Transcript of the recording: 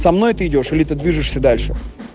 со мной ты идёшь или ты движешься дальше